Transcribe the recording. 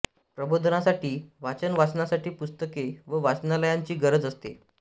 प्रबोधनासाठी वाचन वाचनासाठी पुस्तके व वाचनालयांची गरज असते